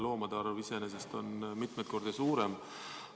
Loomade arv iseenesest on mitmeid kordi suurem.